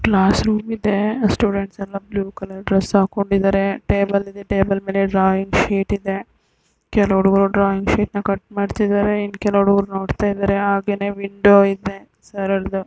Class ರೂಮಿದೆ ಸ್ಟೂಡೆಂಟ್ಸಗಳೆಲ್ಲ blue colour dress ಹಾಕೊಂಡಿದಾರೆ ಟೇಬಲ್ ಇದೆ ಟೇಬಲ್ ಮೇಲೆ ಡ್ರಾಯಿಂಗ್ ಶೀಟ್ ಇದೆ ಕೆಲವು ಉಡುಗ್ರು ಡ್ರಾಯಿಂಗ್ ಶೀಟ್ನಾ ಕಟ್ ಮಾಡ್ತಿದಾರೆ ಇನ್ನ್ ಕೆಲವು ಉಡುಗ್ರು ನೋಡ್ತಾಯಿದಾರೆ ಆಗೇನೇ ವಿಂಡೋ ಇದೆ ಸರಲ್ದು.